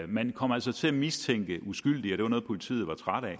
man kom altså til at mistænke uskyldige og det var noget politiet var trætte af